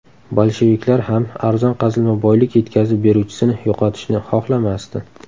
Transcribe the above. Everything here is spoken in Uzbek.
Bolsheviklar ham arzon qazilma boylik yetkazib beruvchisini yo‘qotishni xohlamasdi.